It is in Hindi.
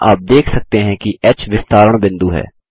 यहाँ आप देख सकते हैं कि ह विस्तारण बिंदु है